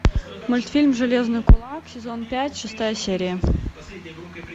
мультфильм железный кулак сезон пять шестая серия